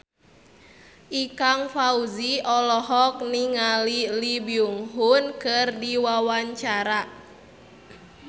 Ikang Fawzi olohok ningali Lee Byung Hun keur diwawancara